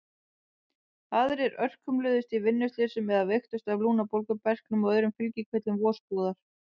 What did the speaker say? Aðrir örkumluðust í vinnuslysum eða veiktust af lungnabólgu, berklum og öðrum fylgikvillum vosbúðar.